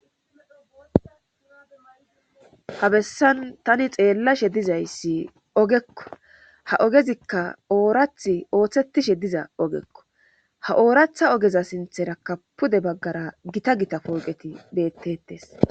Ha bessan tani xeellashe dizayssi ogekko ha ogezikka oorath ooththetishe diza ogekko ha ooratha ogeza sinthera kapude baggara gita gita pooqeti beettetes.